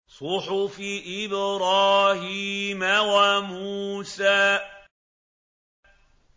صُحُفِ إِبْرَاهِيمَ وَمُوسَىٰ